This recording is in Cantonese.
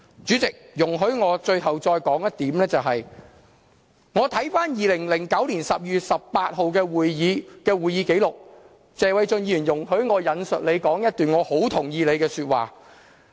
主席，容許我最後再說一點，就是我看回2009年12月18日的會議紀錄，容許我引述謝偉俊議員的一段發言，我很同意他那段話。